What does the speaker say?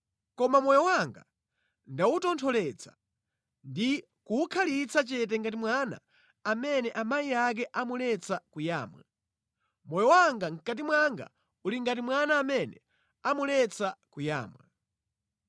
Koma moyo wanga ndawutontholetsa ndi kuwukhalitsa chete ngati mwana amene amayi ake amuletsa kuyamwa, moyo wanga mʼkati mwanga uli ngati mwana amene amuletsa kuyamwa.